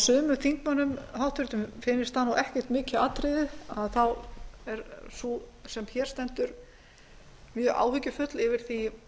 sumum háttvirtum þingmönnum finnist það ekki mikið atriði þá er sú sem hér stendur mjög áhyggjufull yfir því